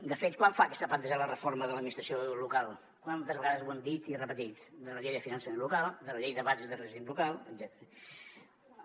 de fet quant fa que s’ha plantejat la reforma de l’administració local quantes vegades ho hem dit i repetit de la llei de finançament local de la llei de bases de règim local etcètera